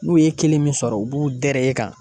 N'u ye kelen min sɔrɔ u b'u dɛrɛ e kan